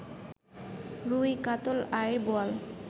রুই, কাতল, আইড়, বোয়াল